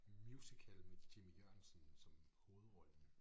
Musical med Jimmy Jørgensen som hovedrollen